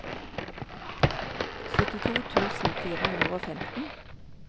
syttito tusen fire hundre og femten